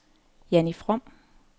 Jannie From